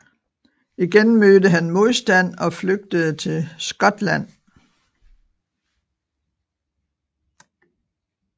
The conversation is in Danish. Igen mødte han modstand og flygtede til Skotland